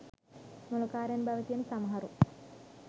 මොළකාරයන් බව කියන සමහරු